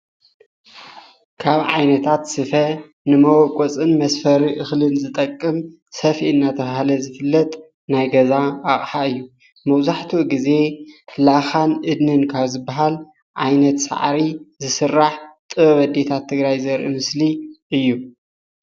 ካብ ዓይነታት ስፈ ንመቦቆፅን መስፈርን እክሊ ዝጠቅም ሰፍኢ እናተባሃለ ዝፍለጥ ናይ ገዛ ኣቅሓ እዩ፣ መብዛሕትኡ ግዘ ላኻን እድንን ካብ ዝባሃል ዓይነት ሳዕሪ ዝስራሕ ጥበብ ኣዴታት ትግራይ ዘርኢ ምስሊ እዩ፡፡